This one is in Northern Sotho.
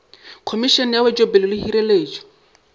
khomišene ya wetšopele le hireletšo